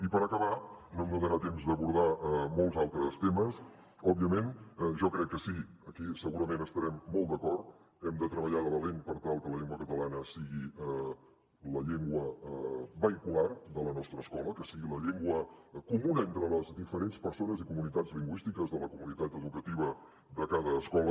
i per acabar no em donarà temps d’abordar molts altres temes òbviament jo crec que sí aquí segurament estarem molt d’acord hem de treballar de valent per tal que la llengua catalana sigui la llengua vehicular de la nostra escola que sigui la llengua comuna entre les diferents persones i comunitats lingüístiques de la comunitat educativa de cada escola